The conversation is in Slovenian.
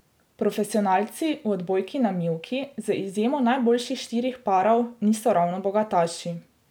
Profesionalci v odbojki na mivki z izjemo najboljših štirih parov niso ravno bogataši.